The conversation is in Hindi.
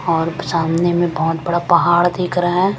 और सामने में बहुत बड़ा पहाड़ दिख रहा है।